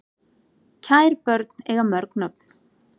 Kær börn eiga mörg nöfn